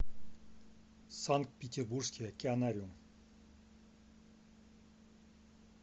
санкт петербургский океанариум